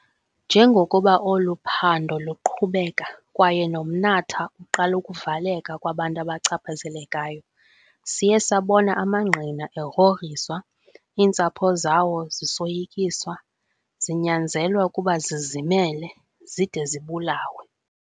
Njengokuba olu phando luqhubeka kwaye nomnatha uqala ukuvaleka kubantu abachaphazelekayo, siye sabona amangqina egrogriswa, iintsapho zawo zisoyikiswa, zinyanzelwa ukuba zizimele, zide zibulawe.